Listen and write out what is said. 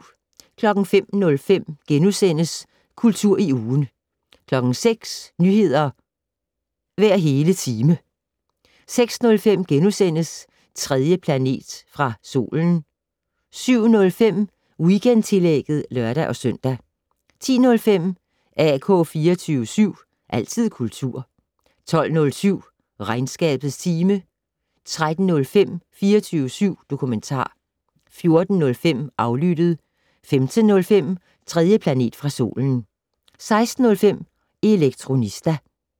05:05: Kultur i ugen * 06:00: Nyheder hver hele time 06:05: 3. planet fra solen * 07:05: Weekendtillægget (lør-søn) 10:05: AK 24syv. Altid kultur 12:07: Regnskabets time 13:05: 24syv dokumentar 14:05: Aflyttet 15:05: 3. planet fra solen 16:05: Elektronista